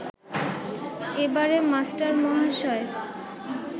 এবারে মাস্টারমহাশয়